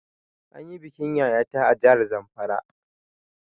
An yi bikin Yaya ta a jahar Zamfara